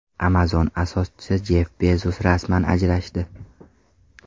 Amazon asoschisi Jeff Bezos rasman ajrashdi.